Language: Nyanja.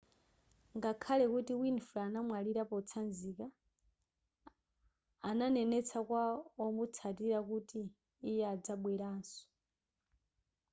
ngakhale kuti winfrey analira potsanzika ananenetsa kwa omutsatila kuti iye adzabwelanso